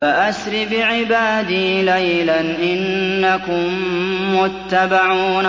فَأَسْرِ بِعِبَادِي لَيْلًا إِنَّكُم مُّتَّبَعُونَ